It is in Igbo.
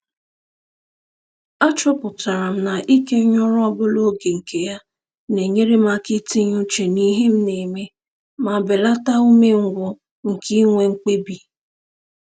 Achọpụtara m na-ikenye ọrụ ọbụla oge nke ya na-enyere m aka itinye uche n'ihe m na-eme ma belata umengwụ nke inwe mkpebi